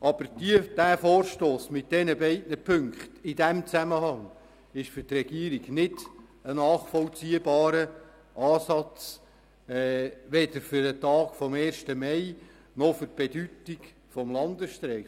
Aber dieser Vorstoss mit diesen beiden Ziffern ist für die Regierung in diesem Zusammenhang nicht nachvollziehbar, weder bezogen auf den Tag des Ersten Mais noch für die Bedeutung des Landesstreiks.